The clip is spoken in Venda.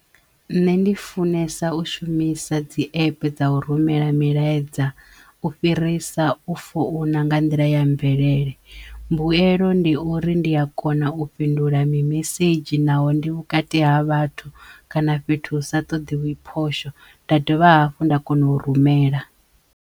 Nṋe ndi funesa u shumisa dzi epe dza u rumela milaedza u fhirisa u founa nga nḓila ya mvelele mbuelo ndi uri ndi a kona u fhindula mimesedzhi naho ndi vhukati ha vhathu kana fhethu hu sa ṱoḓiwi phosho nda dovha hafhu nda kono u rumela.